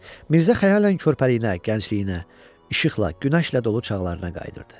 Mirzə xəyalən körpəliyinə, gəncliyinə, işıqla, günəşlə dolu çağlarına qayıdırdı.